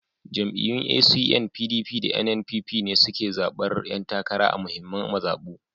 Jam’iyyun ACN, PDP, da NNPP ne suke zaɓar ƴan takara a muhimman mazaɓu